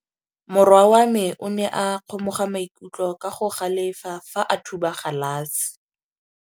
Morwa wa me o ne a kgomoga maikutlo ka go galefa fa a thuba galase.